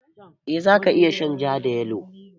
Eh za ka iya shan ja da yalo.